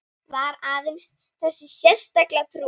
Var aðeins þessi sterka trú